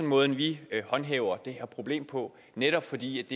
måden vi håndhæver det her problem på netop fordi